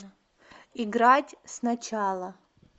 играть сначала